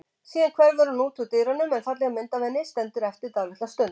Síðan hverfur hún út úr dyrunum en falleg mynd af henni stendur eftir dálitla stund.